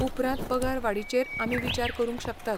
उपरांत पगार वाडीचेर आमी विचार करूंक शकतात.